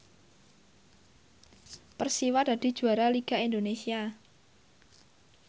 Persiwa dadi juara liga Indonesia